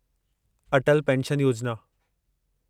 Atal pension Yojana